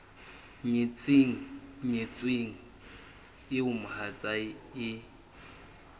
nyetseng nyetsweng eo mohatsae e